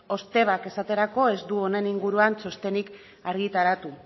ostebak esaterako ez du honen inguruan txostenen argitaratu